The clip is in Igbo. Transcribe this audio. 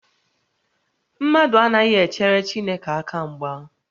Mmadụ anaghị echere Chineke aka mgba